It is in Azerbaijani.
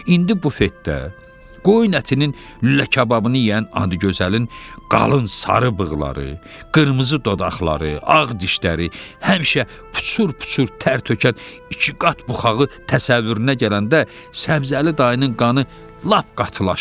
İndi bufetdə qoyun ətinin lülə kababını yeyən adı gözəlin qalın sarı bığları, qırmızı dodaqları, ağ dişləri, həmişə puçur-puçur tərtökən iki qat buxağı təsəvvürünə gələndə Səbzəli dayının qanı lap qatlaşdı.